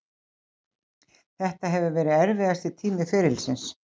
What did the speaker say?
Þetta hefur verið erfiðasti tími ferilsins.